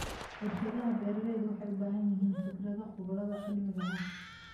Warshadaha beeralayda waxay u baahan yihiin fikrado khubarada cilmiga ah.